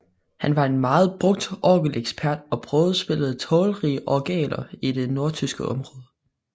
Han var en meget brugt orgelekspert og prøvespillede talrige orgeler i det nordtyske område